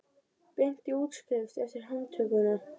Beint í útskrift eftir handtökuna